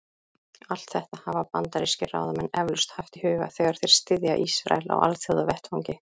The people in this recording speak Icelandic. Allt þetta hafa bandarískir ráðamenn eflaust haft í huga, þegar þeir styðja Ísrael á alþjóðavettvangi.